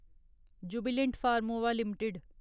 Jubilant Pharmova limited